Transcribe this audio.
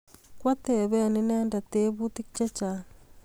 Kwatepen inendet teputik chechang'